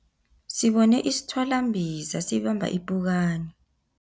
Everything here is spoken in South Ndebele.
Sibone isithwalambiza sibamba ipukani.